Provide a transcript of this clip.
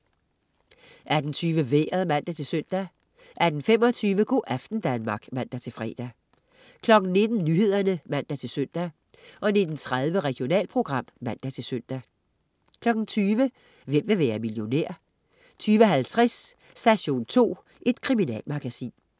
18.20 Vejret (man-søn) 18.25 Go' aften Danmark (man-fre) 19.00 Nyhederne (man-søn) 19.30 Regionalprogram (man-søn) 20.00 Hvem vil være millionær? 20.50 Station 2. Kriminalmagasin